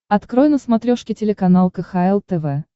открой на смотрешке телеканал кхл тв